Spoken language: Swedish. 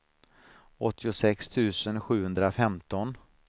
åttiosex tusen sjuhundrafemton